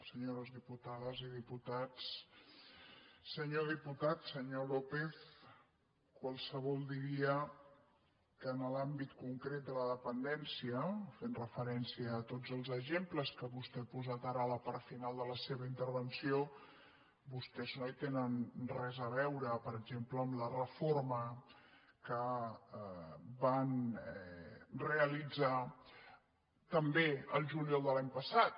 senyores diputades i diputats senyor diputat senyor lópez qualsevol di·ria que en l’àmbit concret de la dependència fent refe·rència a tots els exemples que vostè ha posat ara a la part final de la seva intervenció vostès no hi tenen res a veure per exemple amb la reforma que van realitzar també el juliol de l’any passat